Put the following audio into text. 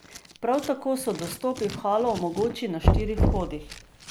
Prav tako so dostopi v halo mogoči na štirih vhodih.